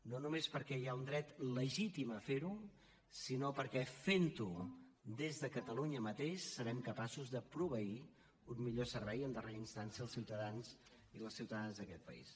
no només perquè hi ha un dret legítim a fer ho sinó perquè fent ho des de catalunya mateix serem capaços de proveir un millor servei en darrera instància als ciutadans i les ciutadanes d’aquest país